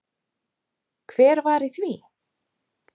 Hver var í því?